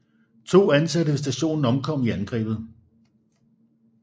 To ansatte ved stationen omkom i angrebet